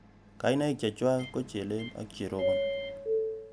Kainaik chechwak ko chelel ak cherobon